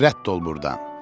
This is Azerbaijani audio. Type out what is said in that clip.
Rədd ol burdan.